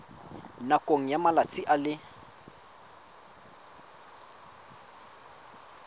nakong ya malatsi a le